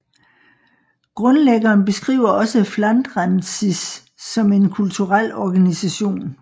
Grundlæggeren beskriver også Flandrensis som en kulturel organisation